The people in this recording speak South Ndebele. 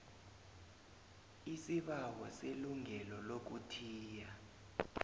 isibawo selungelo lokuthiya